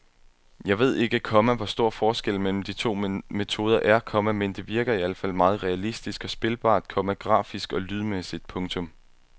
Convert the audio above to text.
Jeg ved ikke, komma hvor stor forskellen mellem de to metoder er, komma men det virker i al fald meget realistisk og spilbart, komma grafisk og lydmæssigt. punktum